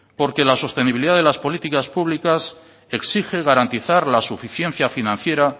porque la sostenibilidad de las políticas públicas exige garantizar la suficiencia financiera